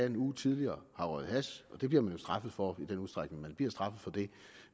en uge tidligere har røget hash og det bliver man straffet for i den udstrækning man bliver straffet for det